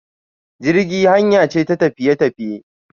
Jirgi hanya ce ta tafiye tafiye.